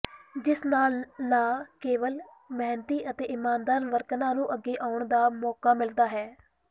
ਜਿਸ ਨਾਲ ਨਾ ਕੇਵਲ ਮੇਹਨਤੀ ਅਤੇ ਇਮਾਨਦਾਰ ਵਰਕਰਾ ਨੂੰ ਅੱਗੇ ਆਉਣ ਦਾ ਮੋਕਾ ਮਿਲਦਾ ਹੈ